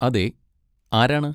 അതെ. ആരാണ്?